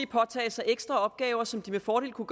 påtage sig ekstra opgaver som de med fordel kunne